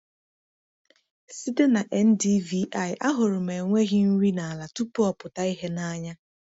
Site na NDVI, ahụrụ m enweghị nri n’ala tupu ọ pụta ìhè n’anya.